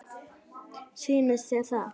Sýnist þér það?